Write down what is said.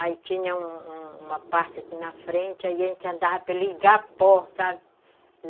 Aí tinha uma uma parte aqui na frente, aí a gente andava pelo Igapó , sabe?